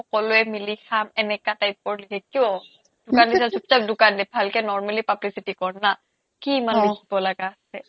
সকলোৱে মিলি খাম এনেকা type ৰ কিয় দোকান দিছা চুপ চাপ দোকান দে ভালকে normally publicity কৰ না কি মানে অ লিখিব লাগা আছে